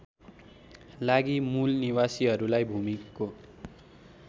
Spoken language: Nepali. लागि मूलनिवासीहरूलाई भूमिको